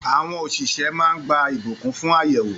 Àwọn òṣìṣẹ́ máa ń gba ìbùkún fún àyẹ̀wò.